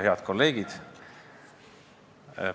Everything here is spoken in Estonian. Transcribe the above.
Head kolleegid!